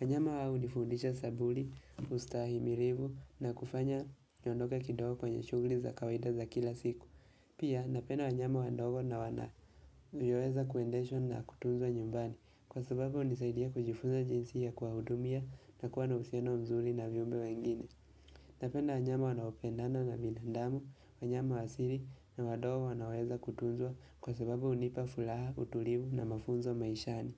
Wanyama hawa hunifundisha sabuli, ustahimilivu na kufanya nyondoka kidogo kwenye shughuli za kawaida za kila siku. Pia napenda wanyama wandogo na wanavyoweza kuendeshwa na kutunzwa nyumbani kwa sababu hunisaidia kujifunza jinsi ya kuwahudumia na kuwa na uhusiano mzuri na viumbe wengine. Napenda wanyama wanaopendana na binandamu, wanyama wa siri na wadogo wanaoweza kutunzwa kwa sababu hunipa furaha, utulivu na mafunzo maishani.